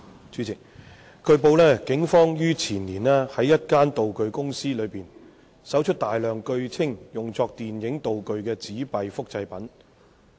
主席，據報，警方於前年在一間道具公司內搜出大量據稱用作電影道具的紙幣複製品。